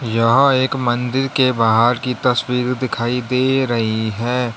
यहां एक मंदिर के बाहर की तस्वीर दिखाई दे रही है।